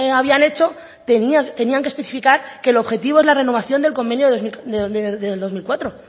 habían hecho tenían que especificar que el objetivo es la renovación del convenio del dos mil cuatro